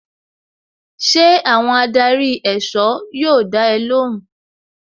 Ṣé àwọn adarí èsọ́ yóò dá ẹ lóhùn?